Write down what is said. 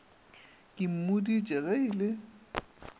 ke mmoditše ge e le